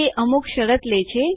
તે અમુક શરત લે છે